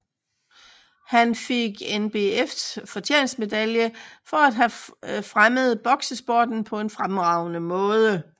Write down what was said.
Han fik NBFs fortjenestmedalje for at have fremmet boksesporten på en fremragende måde